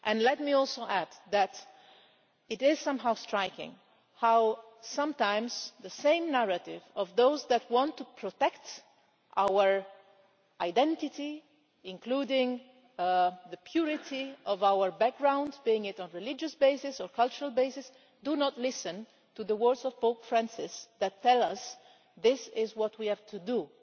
Let me also add that it is somehow striking that sometimes the same narrative of those who want to protect our identity including the purity of our background, be it on a religious or cultural basis do not listen to the words of Pope Francis, which tell us that this is what we have to do